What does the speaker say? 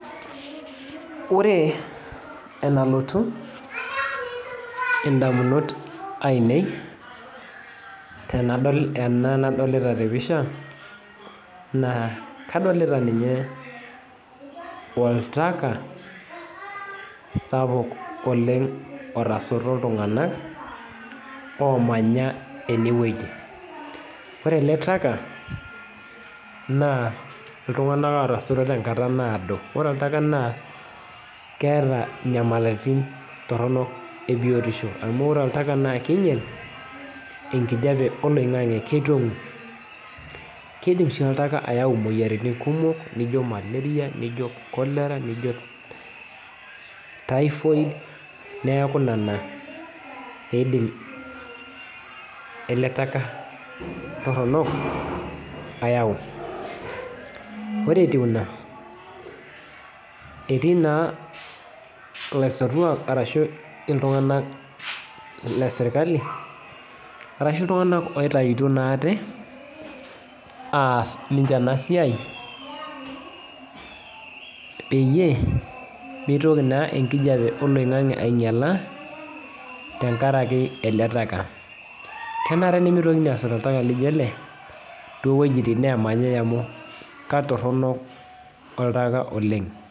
Ore enalotu indamunot ainei tenadol tenanadolita tepisha naa kadolita ninye oltaka sapuk oleng otasoto iltunganak omanya ene wueji ore ele taka naa iltunganak lootasoto tenkata naado ore oltaka naa keeta nyamalaritin torok tebiotisho amu ore oltaka naa kinyial ekijape oloingange kidim sii oltaka ayau imoyiaritin kumok niijo malaria, cholera, typhoid ele taka Torono ayau ore etiu ina etii naa ilasoituak ashu iltunganak le sirkali ashu iltunganak oitayiuto ate ass ninche ena siai peyie mitoki naa ekijape oloingange ainyiala tenkaraki ele taka kenare nimitokini asot oltaka laijo ele too weujitin nemanyae amu katorono oltaka oleng.